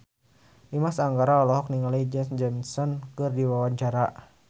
Dimas Anggara olohok ningali Janet Jackson keur diwawancara